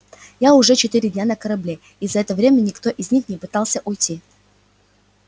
я уже четыре дня на корабле и за это время никто из них не пытался уйти